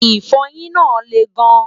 ifoyin nà leè gan